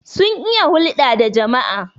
sun iya hulda da jama'a